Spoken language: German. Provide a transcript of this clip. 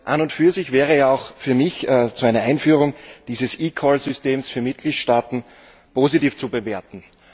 An und für sich wäre ja auch für mich die Einführung dieses eCall Systems für Mitgliedstaaten positiv zu bewerten.